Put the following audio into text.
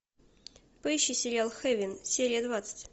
поищи сериал хейвен серия двадцать